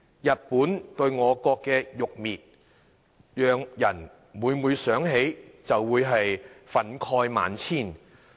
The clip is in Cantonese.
日本對我國的辱衊，讓人每每想起，就會憤慨萬千。